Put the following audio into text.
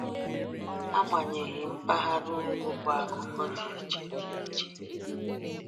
Agbanyeghị, mpaghara ugwu bụ akụkọ dị iche. dị iche.